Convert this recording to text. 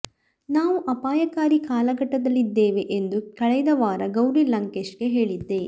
ನಾವು ಅಪಾಯಕಾರಿ ಕಾಲಘಟ್ಟದಲ್ಲಿದ್ದೇವೆ ಎಂದು ಕಳೆದ ವಾರ ಗೌರಿ ಲಂಕೇಶ್ಗೆ ಹೇಳಿದ್ದೆ